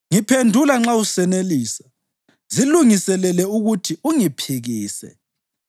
Ngiphendula nxa usenelisa; zilungiselele ukuthi ungiphikise.